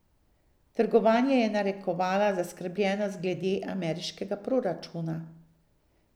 Trgovanje je narekovala zaskrbljenost glede ameriškega proračuna.